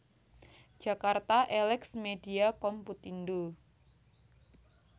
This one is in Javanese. Jakarta Elex Media Komputindo